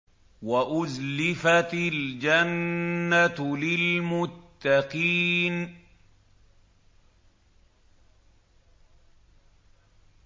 وَأُزْلِفَتِ الْجَنَّةُ لِلْمُتَّقِينَ